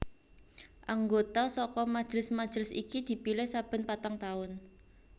Anggota saka majelis majelis iki dipilih saben patang taun